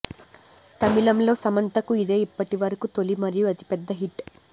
తమిళంలో సమంతకు ఇదే ఇప్పటి వరకు తొలి మరియు అతి పెద్ద హిట్